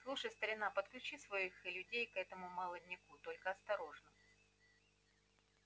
слушай старина подключи своих людей к этому молодняку только осторожно